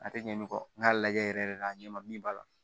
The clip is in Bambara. A tɛ ɲɛ nɔgɔn n k'a lajɛ yɛrɛ yɛrɛ de a ɲɛ ma min b'a la